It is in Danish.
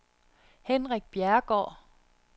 Henrik Bjerregaard